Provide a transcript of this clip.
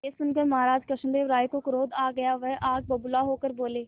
यह सुनकर महाराज कृष्णदेव राय को क्रोध आ गया वह आग बबूला होकर बोले